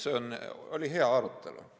See oli hea arutelu.